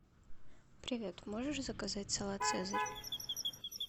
привет можешь заказать салат цезарь